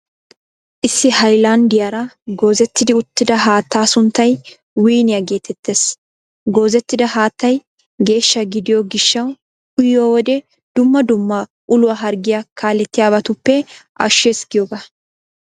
Issi haylanddiyaara goozettidi uttida haattaa sunttay wiiniyaa geetettees. Goozettida haattay geeshsha gidiyoo gishshawu uyiyo wode dumma dumma uluwaa harggiyaa kaalettiybatuppe ashshees giyooga.